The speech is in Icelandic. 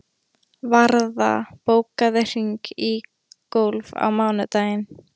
Varða, bókaðu hring í golf á mánudaginn.